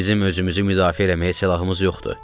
Bizim özümüzü müdafiə eləməyə silahımız yoxdur.